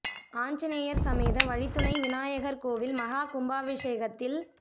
ஆஞ்சநேயர் ஸமேத வழித்துணை விநாயகர் கோயில் மஹா கும்பாபிேஷகத்தில்